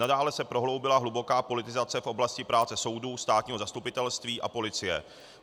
Nadále se prohloubila hluboká politizace v oblasti práce soudů, státního zastupitelství a policie.